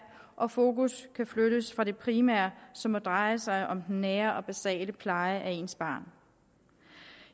og fokus kan flyttes fra det primære som må dreje sig om den nære og basale pleje af ens barn